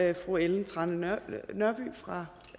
er fru ellen trane nørby fra